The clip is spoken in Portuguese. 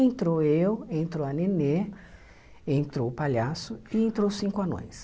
Entrou eu, entrou a Nenê, entrou o palhaço e entrou os cinco anões.